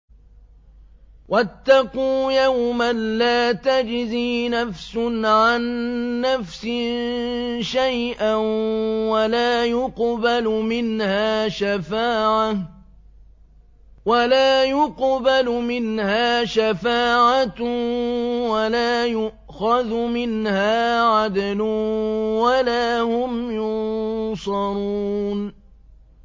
وَاتَّقُوا يَوْمًا لَّا تَجْزِي نَفْسٌ عَن نَّفْسٍ شَيْئًا وَلَا يُقْبَلُ مِنْهَا شَفَاعَةٌ وَلَا يُؤْخَذُ مِنْهَا عَدْلٌ وَلَا هُمْ يُنصَرُونَ